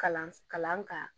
Kalan kalan ka